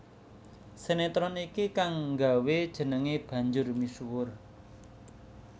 Sinetron iki kang nggawé jenengé banjur misuwur